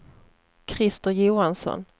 Christer Johansson